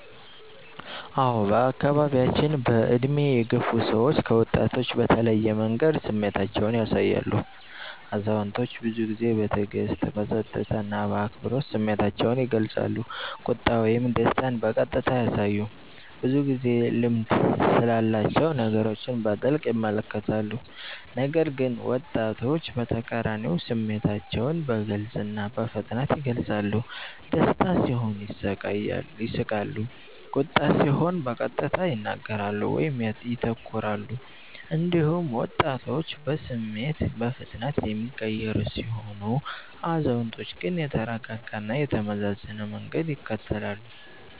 አዎን፣ በአካባቢያችን በዕድሜ የገፉ ሰዎች ከወጣቶች በተለየ መንገድ ስሜታቸውን ያሳያሉ። አዛውንቶች ብዙ ጊዜ በትዕግስት፣ በጸጥታ እና በአክብሮት ስሜታቸውን ይገልጻሉ፤ ቁጣ ወይም ደስታን በቀጥታ አያሳዩም፣ ብዙ ጊዜ ልምድ ስላላቸው ነገሮችን በጥልቅ ይመለከታሉ። ነገር ግን ወጣቶች በተቃራኒው ስሜታቸውን በግልጽ እና በፍጥነት ይገልጻሉ፤ ደስታ ሲሆን ይስቃሉ፣ ቁጣ ሲሆን በቀጥታ ይናገራሉ ወይም ይተኩራሉ። እንዲሁም ወጣቶች በስሜት በፍጥነት የሚቀየሩ ሲሆኑ፣ አዛውንቶች ግን የተረጋጋ እና የተመዘነ መንገድ ይከተላሉ።